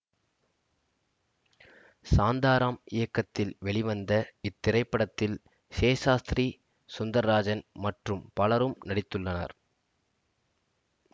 சாந்தாரம் இயக்கத்தில் வெளிவந்த இத்திரைப்படத்தில் ஷெசாஸ்த்ரி சுந்தர்ராஜன் மற்றும் பலரும் நடித்துள்ளனர்